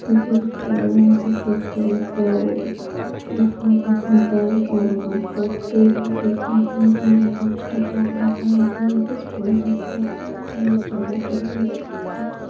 Gate लगा है सफेद कलर का वो भी खुला हुआ है वहां पर और वहां पर पेड़ भी दिख रहे है पोस्टर लग रहा है स्कुल दिख रहा है जगह पड़ी हुई है खाली।